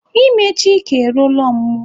Ime Chika eruola ọmụmụ.